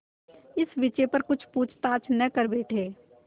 इस विषय पर कुछ पूछताछ न कर बैठें